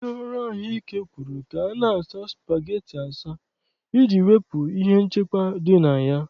Ndị ọrụ ahụ ike kwuru ka a na-asa spageti asa, iji wepụ ihe nchekwa dị na ya.